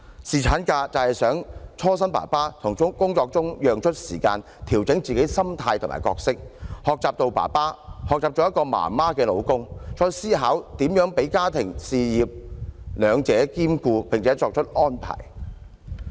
侍產假就是希望讓爸爸從工作中抽身，調整自己的心態和角色，學習做一位新生兒的爸爸，學習做一位媽媽的丈夫，再思考如何讓自己的家庭事業兩者兼顧並且作出安排。